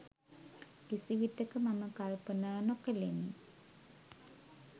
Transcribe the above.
කිසිවිටක මම කල්පනා නොකළෙමි.